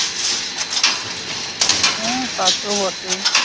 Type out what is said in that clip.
হ্যাঁ তা তো বটেই।